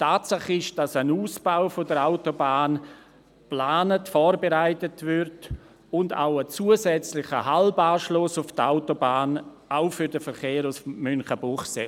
Tatsache ist, dass ein Ausbau der Autobahn geplant und vorbereitet wird, und auch ein zusätzlicher Halbanschluss auf die Autobahn, auch für den Verkehr von Münchenbuchsee.